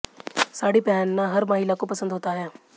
साड़ी पहनना हर महिला को पसंद होता है